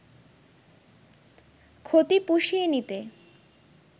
ক্ষতি পুষিয়ে নিতে